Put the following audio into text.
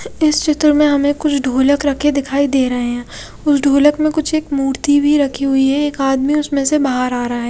इस चित्र में हमें कुछ ढोलक रखे दिखाई दे रहे हैं उस ढोलक में कुछ एक मूर्ति भी रखी हुई है एक आदमी उसमें से बाहर आ रहा है।